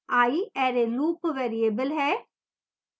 i array loop variable है